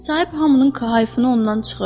Sahip hamının kahıfını ondan çıxır.